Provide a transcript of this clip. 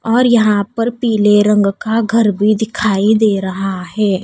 और यहां पर पीले रंग का घर भी दिखाई दे रहा है।